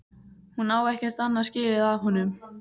Hún á ekkert annað skilið af honum.